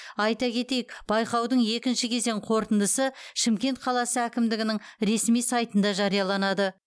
айта кетейік байқаудың екінші кезең қорытындысы шымкент қаласы әкімдігінің ресми сайтында жарияланады